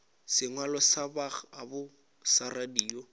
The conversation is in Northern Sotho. sengwalo sa bokgabo sa radio